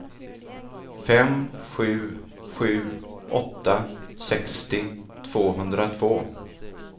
fem sju sju åtta sextio tvåhundratvå